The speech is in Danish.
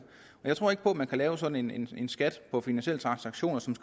jeg tror ikke at man kan lave sådan en skat på finansielle transaktioner så